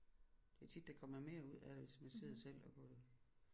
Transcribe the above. Det er tit der kommer mere ud af det hvis man sidder selv og går